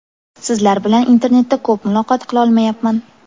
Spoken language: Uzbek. Sizlar bilan internetda ko‘p muloqot qilolmayapman.